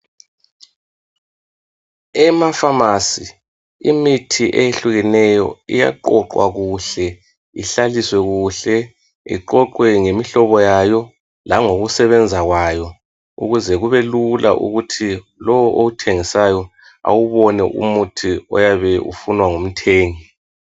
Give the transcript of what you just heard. Emafamasi imithi eyehlukeneyo iyaqoqwa kuhle, ihlaliswe kuhle, iqoqwe ngemihlobo yayo langokusebenza kwayo ukuze kubelula ukuthi lowo owuthengisayo awubone umuthi oyabe ufunwa ngumthengi.